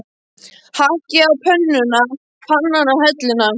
Hakkið á pönnuna, pannan á helluna.